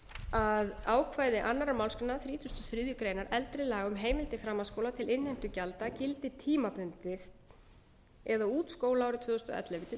að ákvæði annarrar málsgreinar þrítugustu og þriðju greinar eldri laga um heimild til framhaldsskóla til innheimtu gjalda gildi tímabundið eða út skólaárið tvö þúsund og ellefu til tvö þúsund og